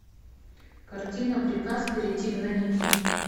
картина приказ перейти границу